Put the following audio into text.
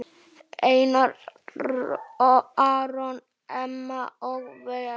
Einar Aron, Emma og Vera.